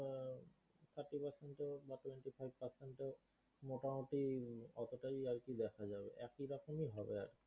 মোটামুটি অতোটাই আর কি দেখা যাবে একই রকমই হবে এক